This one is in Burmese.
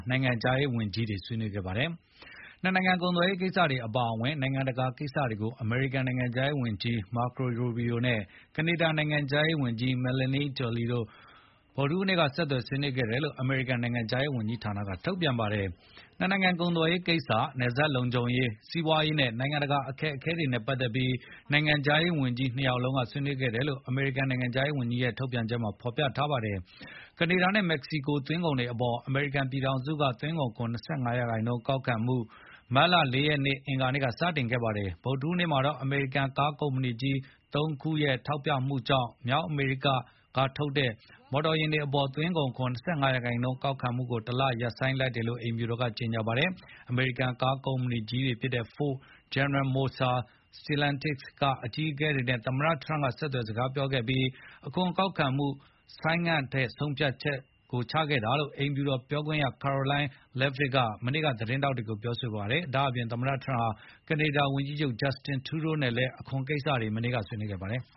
နိုင်ငံခြားရေးဝန်ကြီးတွေ ဆွေးနွေးခဲ့ကြပါတယ်။ နှစ်နိုင်ငံကုန်သွယ်ရေးကိစ္စတွေအပါအဝင် နိုင်ငံတကာကိစ္စတွေကို အမေရိကန်နိုင်ငံခြားရေးဝန်ကြီး Marco Rubio နဲ့ ကနေဒါနိုင်ငံခြားရေးဝန်ကြီး Melanie Joly တို့ ဗုဒ္ဓဟူးနေ့က ဆက်သွယ် ဆွေးနွေး ခဲ့တယ်လို့ အမေရိကန် နိုင်ငံခြားရေးဝန်ကြီးဌာနက ထုတ်ပြန်ပါတယ်။ နှစ်နိုင်ငံကုန်သွယ်ရေးကိစ္စ၊ နယ်စပ်လုံခြုံရေး၊ စီးပွားရေးနဲ့ နိုင်ငံတကာအခက်အခဲတွေနဲ့ ပတ်သက်ပြီး နိုင်ငံခြားရေးဝန်ကြီးနှစ် ယောက် ဆွေးနွေးခဲ့တယ်လို့ အမေရိကန် နိုင်ငံခြားရေးဝန်ကြီးဌာနက ထုတ်ပြန်ပါတယ်။ ကနေဒါနဲ့မက္ကဆီကို သွင်းကုန်တွေအပေါ် အမေရိကန်ပြည်ထောင်စုက သွင်းကုန်ခွန် ၂၅ ရာနှုန်း ကောက်ခံမှု မတ်လ (၄) ရက် အင်္ဂါနေ့က စတင်ခဲ့ပါတယ်။ ဗုဒ္ဓဟူးနေ့မှာတော့ အမေရိကန် ကားကုမ္ပဏီကြီး (၃) ခုရဲ့ ထောက်ပြမှုကြောင့် မြောက်အမေရိကထုတ် မော်တော်ယာဉ်တွေအပေါ် သွင်းကုန်ခွန် ၂၅% ကောက်ခံမှုကို တလဆိုင်းငံ့လိုက်တယ်လို့ အိမ်ဖြူတော်က ကြေညာပါတယ်။ အမေရိကန်ကားကုမ္ပဏီကြီးတွေဖြစ်တဲ့ Ford ၊ General Motors ၊ Stellantis ကအကြီးအကဲတွေနဲ့ သမ္မတ Trump ဆက်သွယ်စကားပြောခဲ့ပြီး အခွန်ကောက်ခံမှုကို ဆိုင်းငံ့ထားဖို့ဆုံးဖြတ်ခဲ့တယ်လို့ အိမ်ဖြူတော်ပြောခွင့်ရ Karoline Leavitt က မနေ့ကသတင်းထောက်တွေကိုပြောဆိုခဲ့ပါတယ်။ ဒါ့အပြင် သမ္မတထရမ့်ဟာ ကနေဒါဝန်ကြီးချုပ် Justin Trudeau နဲ့ လည်း အခွန်ကိစ္စတွေ ဆွေးနွေးခဲ့ ပါတယ်။